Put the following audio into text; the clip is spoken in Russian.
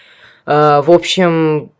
в общем